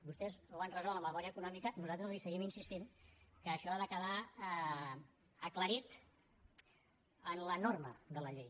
vostès ho han resolt a la memòria econòmica i nosaltres els seguim insistint que això ha de quedar aclarit en la norma de la llei